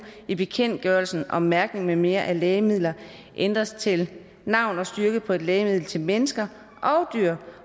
i bekendtgørelsen om mærkning med mere af lægemidler ændres til navn og styrke på et lægemiddel til mennesker